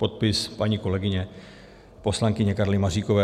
Podpis paní kolegyně, poslankyně Karly Maříkové.